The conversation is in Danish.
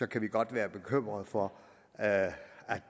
kan vi godt være bekymrede for at